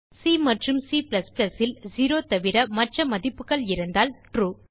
C மற்றும் Cல் 0 தவிர மற்ற மதிப்புகள் இருந்தால் ட்ரூ